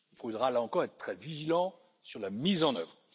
Il faudra, là encore, être très vigilant sur la mise en œuvre.